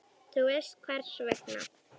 Þú veist hvers vegna.